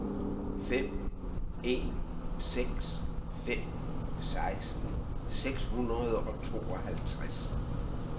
fem en seks fem seksten seks hundrede og tooghalvtreds